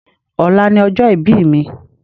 Ọ̀la ni ọjọ́ ìbí mi